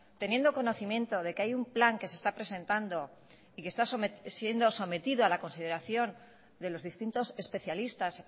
teniendo conocimiento de que hay un plan que se está presentando y que está siendo sometido a la consideración de los distintos especialistas